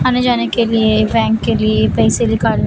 आने जाने के लिए बैंक के लिए पैसे निकाल--